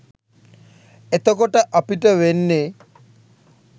එතකොට අපිට වෙන්නෙ